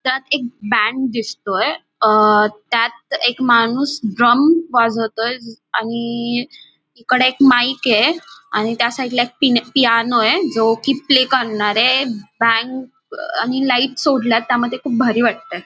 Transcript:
त्यात एक बँड दिसतोय अं त्यात एक माणूस ड्रम वाजवतोय आणि इकडे एक माईक ये आणि त्या साईड ला एक पिन पियानो ये जो की प्ले करणार ये एक बँक आणि अं लाईट सोडल्यात त्यामध्ये खूप भारी वाटते.